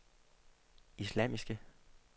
islamiske